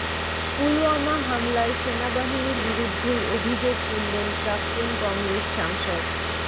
পুলওয়ামা হামলায় সেনাবাহিনীর বিরুদ্ধেই অভিযোগ তুললেন প্রাক্তন কংগ্রেস সাংসদ